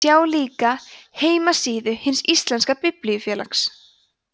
sjá líka heimasíðu hins íslenska biblíufélags